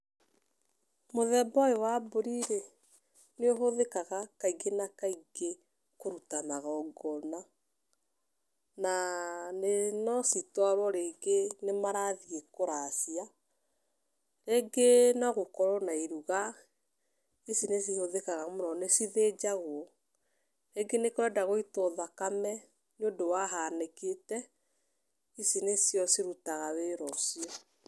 Mũthemba ũyũ wa mbũri rĩ nĩ ũhũthikaga kaingi na kaingi kũruta magongona. Na no citwarwo rĩngĩ nĩ marathiĩ kuracia, rĩngĩ no gũkorwo na iruga ici nĩ cihũthĩkaga mũno nĩ cithĩnjagwo. Rĩngĩ nĩ kũrenda gũitwo thakame nĩ ũndũ wa hanĩkĩte ici nicio cirutaga wĩra ũcio.